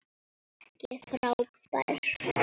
Ekki frábær.